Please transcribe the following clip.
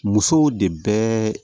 Musow de bɛ